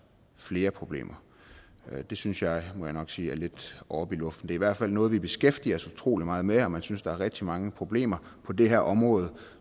flere problemer det synes jeg må jeg nok sige er lidt oppe i luften i hvert fald noget vi beskæftiger os utrolig meget med om man synes der er rigtig mange problemer på det her område